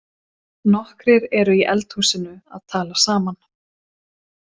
Nokkrir eru í eldhúsinu að tala saman.